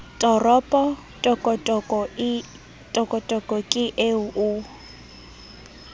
toropo tokotoko ke eo o